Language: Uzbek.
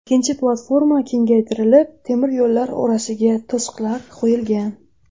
Ikkinchi platforma kegaytirilib, temir yo‘llar orasiga to‘siqlar qo‘yilgan.